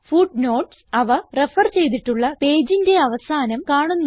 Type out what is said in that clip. footnotes അവ refer ചെയ്തിട്ടുള്ള പേജിന് അവസാനം കാണുന്നു